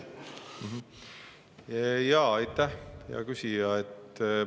Aitäh, hea küsija!